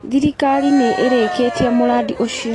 Thirikari nĩ ĩrĩkĩtie mũrandi ũcio.